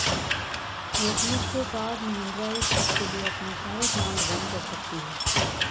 ਿਯਸਮਸ ਤੋਂ ਬਾਅਦ ਮਹਿੰਦਰਾ ਇਕ ਹਫ਼ਤੇ ਲਈ ਆਪਣੇ ਸਾਰੇ ਪਲਾਂਟ ਬੰਦ ਕਰ ਸਕਦੀ ਹੈ